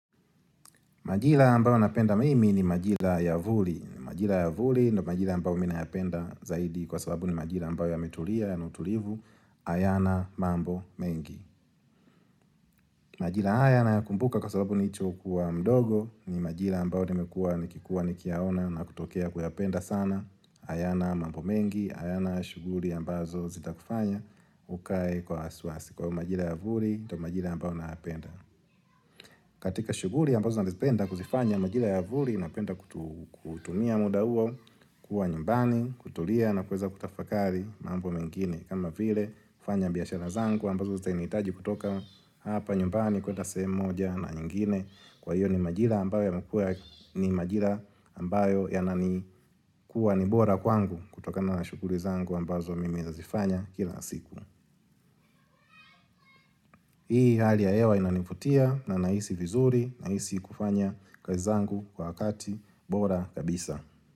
Majira ambayo napenda mimi ni majira ya vuli. Majira ya vuli ni majira ambayo mi nayapenda zaidi kwa sababu ni majira ambayo yametulia yana utulivu hayana mambo mengi. Majira haya nayakumbuka kwa sababu nicho kuwa mdogo ni majira ambayo nimekuwa nikikuwa nikiyaona na kutokea kuyapenda sana. Hayana mambo mengi, hayana shughuli ambazo zitakufanya ukae kwa wasiwasi. Kwa hivo majira ya vuli ndo majira ambayo nayapenda. Katika shughuli ambazo nazipenda kuzifanya majira ya vuli napenda kutumia muda huo kuwa nyumbani, kutulia na kuweza kutafakari mambo mengine. Kama vile kufanya biashara zangu ambazo zitainihitaji kutoka hapa nyumbani kwenda sehemu moja na nyingine kwa hiyo ni majira ambayo majira ambayo yanani kuwa ni bora kwangu kutokana shughuli zangu ambazo mimi nazifanya kila siku. Hii hali ya hewa inanivutia na nahisi vizuri, nahisi kufanya kazi zangu kwa wakati, bora kabisa.